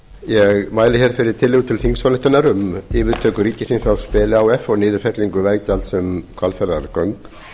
ég mæli fyrir tillögu til þingsályktunar um yfirtöku ríkisins á speli h f og niðurfellingu veggjalds um hvalfjarðarauk